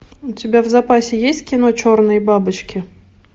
у тебя в запасе есть кино черные бабочки